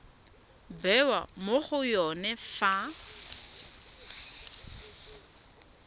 bewa mo go yone fa